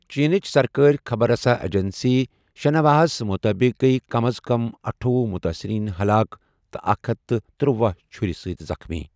چینٕچ سرکٲری خبر رساں ایجنسی شنہواہَس مُطٲبِق گٔیہِ کم از کم اَٹھۄۄُہ متٲثریٖن ہلاک تہٕ اکھ ہتھ تہٕ تُروَہ چھُرِ سۭتۍ زخمی۔